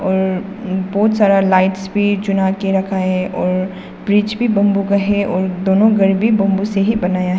और बहुत सारा लाइट्स भी चुना के रखा है और ब्रिज भी बंबू का हैं और दोनों घर भी बंबू से ही बनाया है।